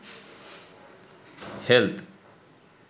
health